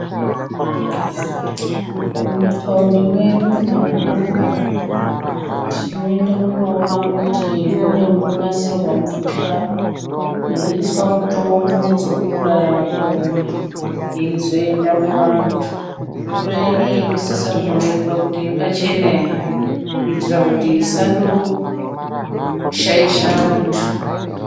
Mumataundi mwedu mumadhorobha tinondoona kuti mune munonasirwa mvura yeiswa mutombo dzekuuraya makonye yeizoenda muvantu, mvura inei inosisa kuonekwa kuti yakachena here kuitira kuti isando shaisha vantu.